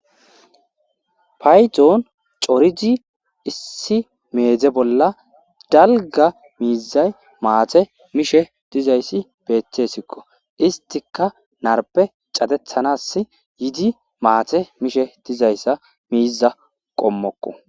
payxoon corizi issi meedze bolla dalga miizay maate mishe dizayssi beeththesikko istika narpe catethanas yidi maate mishe dizayssa miiza qommokko